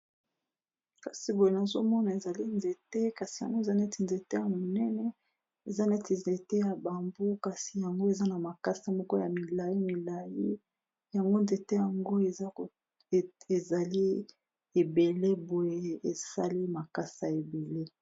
Kasi boye nazomona ezali nzete kasi yango eza neti nzete ya monene eza neti nzete ya bambu kasi yango eza na makasa moko ya milai milai yango nzete yango ezali ebele boye esali makasa ebele.